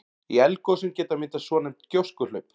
Í eldgosum geta myndast svonefnd gjóskuhlaup.